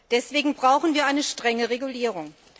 Deswegen brauchen wir eine strenge Regulierung.